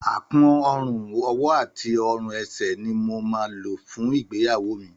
Àkún ọrùn, ọwọ́ àti ọrùn ẹsẹ̀ ni mo máa lò fún ìgbéyàwó mi